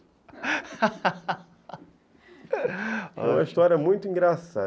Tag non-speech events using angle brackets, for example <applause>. <laughs> É uma história muito engraçada.